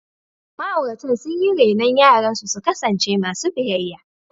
Ma’auratan sun yi renon yaransu su kasance masu biyayya.